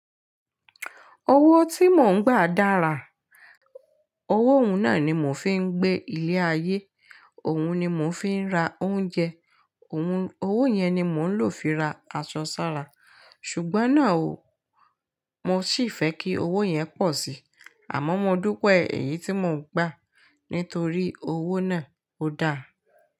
Owó tí mò ń gba dára, owó òun náà ni mò ń fi ń gbé ilé ayé, òun ni mò ń fi ń ra oúnjẹ, òun, owó yẹn ni mò ń lò fi ra aṣọ sára. Ṣùgbọ́n náà o, mò ṣì fẹ́ kí owó yẹn pọ̀ síi. Àmọ́ mo dúpẹ́ èyí tí mò ń gba nítorí owó náà ó dáa.